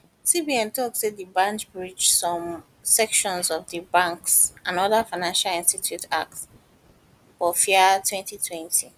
cbn tok say di bank breach some um sections of di banks and other financial institutions act bofia 2020